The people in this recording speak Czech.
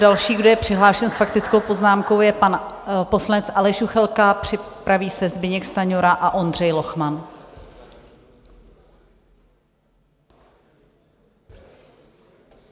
Další, kdo je přihlášen s faktickou poznámkou, je pan poslanec Aleš Juchelka, připraví se Zbyněk Stanjura a Ondřej Lochman.